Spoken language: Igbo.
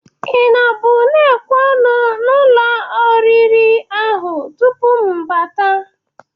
Ị nọbụ na-ekwe ọnụ n'ụlọ orire ahụ tupu m bata?